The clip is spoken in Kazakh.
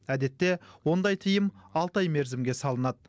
әдетте ондай тыйым алты ай мерзімге салынады